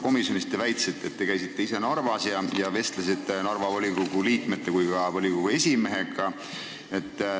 Komisjonis te väitsite, et te käisite ise Narvas ja vestlesite Narva volikogu liikmete ja esimehega.